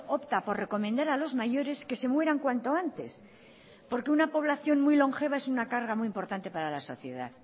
opta por recomendar a los mayores que se mueran cuanto antes porque una población muy longeva es una carga muy importante para la sociedad